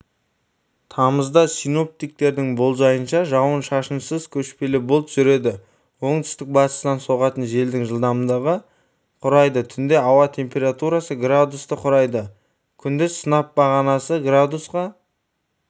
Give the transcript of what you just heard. тамызда синоптиктердің болжайынша жауын-шашынсыз көшпелі бұлт жүреді оңтүстік-бастыстан соғатын желдің жылдамдығы құрайды түнде ауа температурасы градусты құрайды күндіз сынап бағанасы градусқа